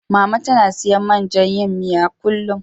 Mama tana siyan man jan yin miyar, kullum.